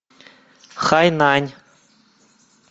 хайнань